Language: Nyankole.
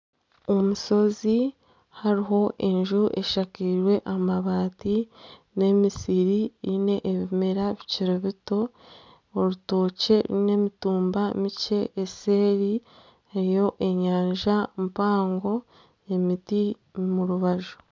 Omushozi hariho enju eshakirwe amabaati n'emisiri erimu ebimera bikiri bito, orutookye rwine emitumba mikye eseeri hariyo enyanja mpango, emiti omu rubaju.